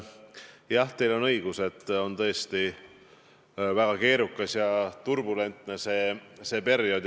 Jah, teil on õigus: on tõesti väga keerukas ja turbulentne see eesseisev periood.